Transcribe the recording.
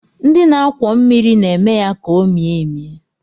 Ndị na-akwọ mmiri na-eme ya ka o mie emie